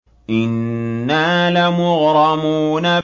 إِنَّا لَمُغْرَمُونَ